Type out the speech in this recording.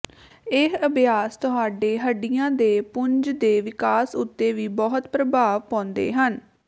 ਇਹ ਅਭਿਆਸ ਤੁਹਾਡੇ ਹੱਡੀਆਂ ਦੇ ਪੁੰਜ ਦੇ ਵਿਕਾਸ ਉੱਤੇ ਵੀ ਬਹੁਤ ਪ੍ਰਭਾਵ ਪਾਉਂਦੇ ਹਨ